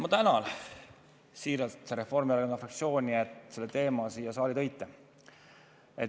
Ma tänan siiralt Reformierakonna fraktsiooni, et te selle teema siia saali tõite.